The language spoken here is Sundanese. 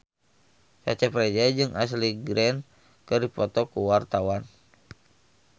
Cecep Reza jeung Ashley Greene keur dipoto ku wartawan